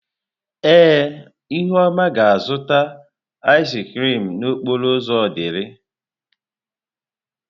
Ee, ihuoma ga-azụta ịz krịm n'okporo ụzọ Odili.